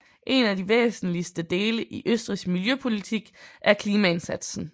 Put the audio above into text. En af de væsentligste dele i Østrigs miljøpolitik er klimaindsatsen